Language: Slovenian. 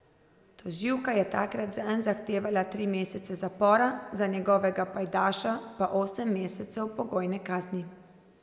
Tožilka je takrat zanj zahtevala tri mesece zapora, za njegovega pajdaša pa osem mesecev pogojne kazni.